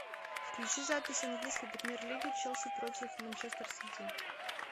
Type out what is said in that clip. включи запись английской премьер лиги челси против манчестер сити